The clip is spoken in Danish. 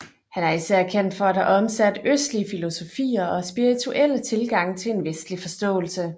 Han er især kendt for at have omsat østlige filosofier og spirituelle tilgange til en vestlig forståelse